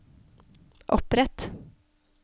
opprett